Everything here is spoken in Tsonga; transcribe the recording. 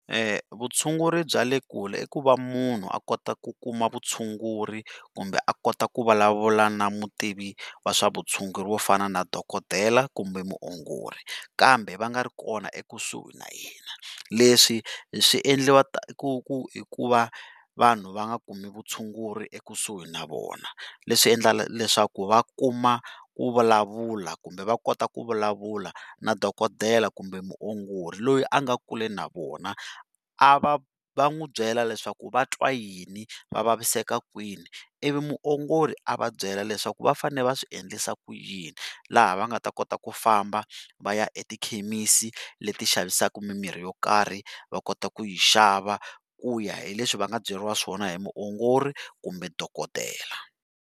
Vutshunguri bya le kule i ku va munhu a kota ku kuma vutshunguri kumbe a kota ku vulavula na mutivi wa swa vutshunguri wo fana na dokodela kumbe muongori, kambe va nga ri kona ekusuhi na yena leswi swiendliwa hikuva vanhu va nga kumi vutshunguri ekusuhi na vona leswi endla leswaku va kuma ku vulavula kumbe va kota ku vulavula na dokodela kumbe muongori loyi a nga kule na vona, a va va n'wi byela leswaku va twa yini va vaviseka kwini ivi muongori a va byele leswaku va fane va swiendlisa ku yini, laha va nga ta kota ku famba va ya etikhemisi leti xavisaka mimirhi yo karhi va kota ku yi xava ku ya hi leswi va nga byeriwa swona hi muongori kumbe dokodela.